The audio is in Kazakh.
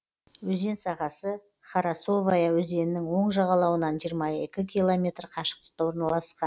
өзен сағасы харасовая өзенінің оң жағалауынан жиырма екі километр қашықтықта орналасқан